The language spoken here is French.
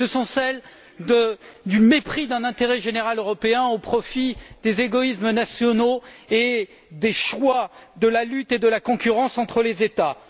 Ce sont celles du mépris d'un intérêt général européen au profit des égoïsmes nationaux et des choix de la lutte et de la concurrence entre les États.